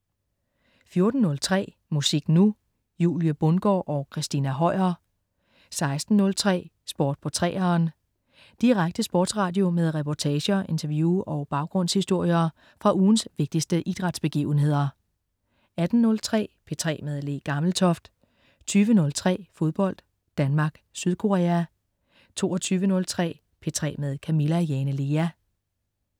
14.03 Musik Nu! Julie Bundgaard og Christina Høier 16.03 Sport på 3'eren. Direkte sportsradio med reportager, interview og baggrundshistorier fra ugens vigtigste idrætsbegivenheder 18.03 P3 med Le Gammeltoft 20.03 Fodbold: Danmark, Sydkorea 22.03 P3 med Camilla Jane Lea